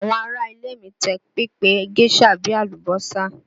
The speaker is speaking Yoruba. Àwọn ará ilé mi tẹ́ pẹpẹ géșà bí i àlùbọ́sà